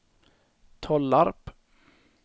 Tollarp